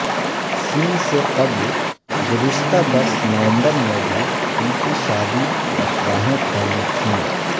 س سے قبل گذشتہ برس نومبر میں بھی ان کی شادی کی افواہیں پھیلی تھیں